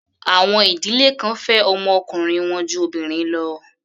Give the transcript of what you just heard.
Àwọn ìdílé kan fẹ́ ọmọ ọkùnrin wọn ju obìnrin lọ.